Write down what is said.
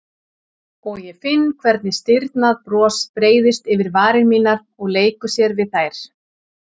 Og ég finn hvernig stirðnað bros breiðist yfir varir mínar og leikur sér við þær.